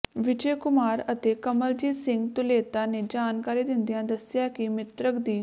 ਵਿਜੇ ਕੁਮਾਰ ਅਤੇ ਕਮਲਜੀਤ ਸਿੰਘ ਧੁਲੇਤਾ ਨੇ ਜਾਣਕਾਰੀ ਦਿੰਦਿਆਂ ਦੱਸਿਆ ਕਿ ਮਿ੍ਤਕ ਦੀ